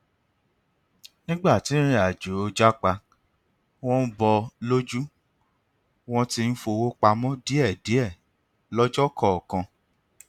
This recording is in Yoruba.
nígbà tí ìrìnàjò japa wọn ń bọ lójú wọn ti ń fowó pamọ díẹ díẹ lọjọ kọọkan